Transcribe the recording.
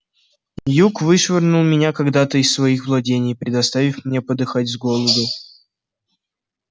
юг вышвырнул меня когда-то из своих владений предоставив мне подыхать с голоду